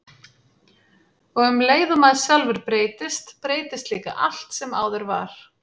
Og um leið og maður sjálfur breytist, breytist líka allt sem áður var.